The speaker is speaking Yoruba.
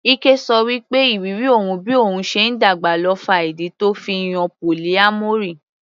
Ike ṣọ wí pé ìrírí òun bí òun ṣe ń dàgbà ló fa ìdí tó fi yan polyamory.